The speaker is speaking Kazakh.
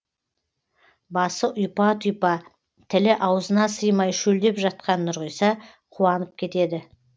басы ұйпа тұйпа тілі аузына сыймай шөлдеп жатқан нұрғиса қуанып кетеді